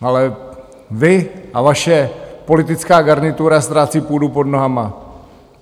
Ale vy a vaše politická garnitura ztrácí půdu pod nohama.